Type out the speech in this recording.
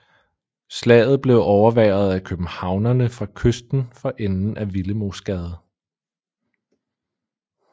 Slaget blev overværet af københavnerne fra kysten for enden af Willemoesgade